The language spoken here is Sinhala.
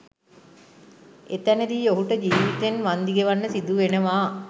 එතැනදී ඔහුට ජිවිතයෙන් වන්දි ගෙවන්න සිදුවෙනවා